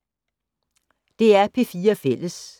DR P4 Fælles